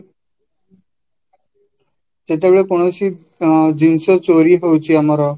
ଯେତେବେଳେ କୌଣସି ଅଂ ଜିନିଷ ଚାରିହଉଛି ଆମର